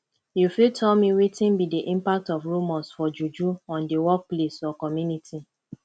you fit tell me wetin be di impact of rumors for juju on di workplace or community